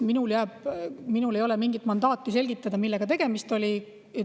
Minul ei ole mingit mandaati selgitada, millega tegemist oli.